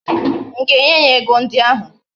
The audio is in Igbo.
M ga-enye ya ego ndi ahu?